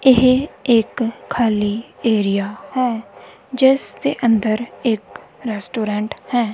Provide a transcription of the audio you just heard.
ਇਹ ਇੱਕ ਖਾਲੀ ਏਰੀਆ ਹੈ ਜਿਸਦੇ ਅੰਦਰ ਇੱਕ ਰੈਸਟੋਰੈਂਟ ਹੈ।